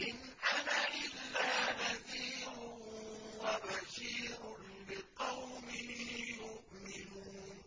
إِنْ أَنَا إِلَّا نَذِيرٌ وَبَشِيرٌ لِّقَوْمٍ يُؤْمِنُونَ